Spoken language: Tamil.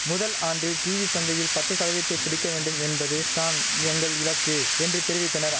முதல் ஆண்டில் டீவி சந்தையில் பத்து சதவீதத்தை பிடிக்க வேண்டும் என்பது தான் எங்கள் இலக்கு என்று தெரிவித்தனரா